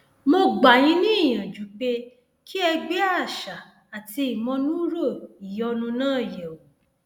mo gbà yín níyànjú pé kí ẹ gbé àṣà àti ìmọnúúrò ìyọnu náà yẹwò